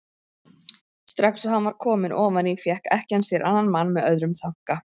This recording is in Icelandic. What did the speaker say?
Strax og hann var kominn ofan í fékk ekkjan sér annan mann með öðrum þanka.